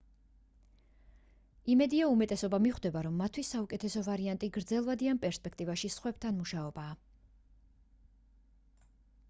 იმედია უმეტესობა მიხვდება რომ მათთვის საუკეთესო ვარიანტი გრძელვადიან პერსპექტივაში სხვებთან მუშაობაა